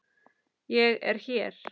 Ég er hér!